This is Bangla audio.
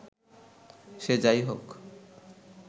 সে যাই হোক